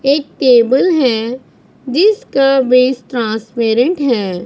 एक टेबल हैं जिसका बेस ट्रांसपेरेंट है।